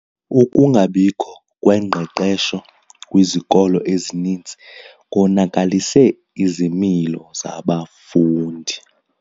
Ukungabikho kwengqeqesho kwizikolo ezininzi konakalise izimilo zabafundi.